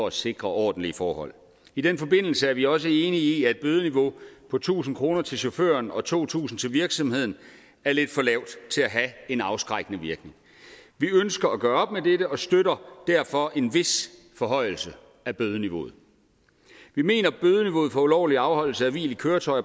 at sikre ordentlige forhold i den forbindelse er vi også enige i at et bødeniveau på tusind kroner til chaufføren og to tusind kroner til virksomheden er lidt for lavt til at have en afskrækkende virkning vi ønsker at gøre op med dette og støtter derfor en vis forhøjelse af bødeniveauet vi mener at bødeniveauet for ulovlig afholdelse af hvil i køretøjer